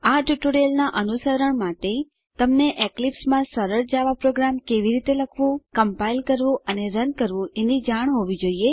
આ ટ્યુટોરીયલનાં અનુસરણ માટે તમને એક્લીપ્સ માં સરળ જાવા પ્રોગ્રામ કેવી રીતે લખવું કમ્પાઈલ કરવું અને રન કરવું એની જાણ હોવી જોઈએ